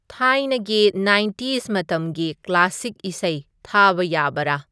ꯊꯥꯏꯅꯒꯤ ꯅꯥꯏꯟꯇꯤꯁ ꯃꯇꯝꯒꯤ ꯀ꯭ꯂꯥꯁꯤꯛ ꯏꯁꯩ ꯊꯥꯕ ꯌꯥꯕꯔ